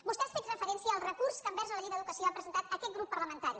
vostè ha fet referència al recurs que envers la llei d’educació ha presentat aquest grup parlamentari